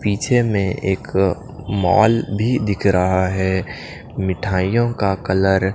पीछे में एक मॉल भी दिख रहा है मिठाइयों का कलर --